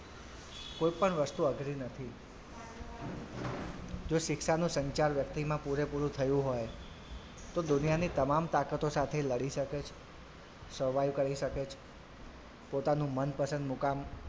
કોઈ પણ વસ્તુ અઘરી નથી જો શિક્ષાનું સંચાલ વ્યક્તિમાં પૂરેપૂરું થયું હોય તો દુનિયાની તમામ તાકાતો સાથે લડી શકે survive કરી શકે છે પોતાનું મનપસંદ મુકામ,